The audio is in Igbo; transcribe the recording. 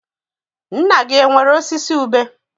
Nna gị enwere osisi ube?